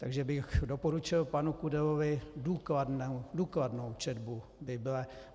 Takže bych doporučil panu Kudelovi důkladnou četbu Bible.